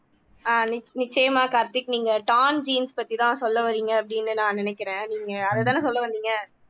ஆஹ் நிச் நிச்சயமா கார்த்திக் நீங்க torn jeans பத்திதான் சொல்ல வர்றீங்க அப்படின்னு நான் நினைக்கிறேன் நீங்க அதைத்தானே சொல்ல வந்தீங்க